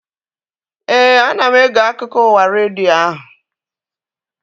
Éè, ana m ege akụkọ ụwa redio ahu